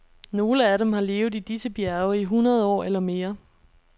Nogle af dem har levet i disse bjerge i hundrede år eller mere.